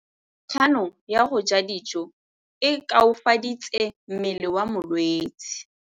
Kganô ya go ja dijo e koafaditse mmele wa molwetse.